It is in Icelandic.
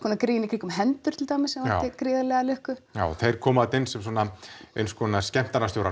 konar grín í kringum hendur sem vakti gríðarlega lukku já þeir koma þarna inn sem eins konar